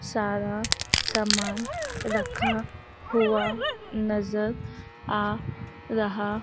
सारा सामान रखा हुआ नजर आ रहा--